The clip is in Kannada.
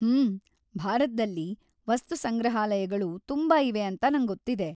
ಹ್ಮ್.. ಭಾರತ್ದಲ್ಲಿ ವಸ್ತುಸಂಗ್ರಹಾಲಯಗಳು ತುಂಬಾ ಇವೆ ಅಂತ ನಂಗೊತ್ತಿದೆ.